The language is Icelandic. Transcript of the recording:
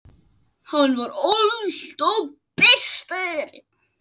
Hann var alltaf bestur.